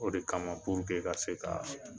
O de kama ka se k'a